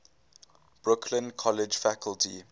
brooklyn college faculty